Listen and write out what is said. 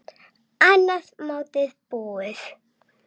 Annað mótið búið!